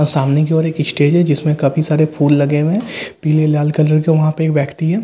आ सामने की और एक स्टेज है जिसमे काफी सारे फूल लगे हुए है पीले लाल कलर के उहपे एक व्यक्ति है जो --